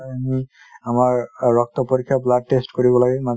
আমি আমাৰ ৰক্ত পৰীক্ষা blood test কৰিব লাগে